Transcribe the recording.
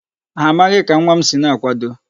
Ha amaghị ka nwa m si na-akwado.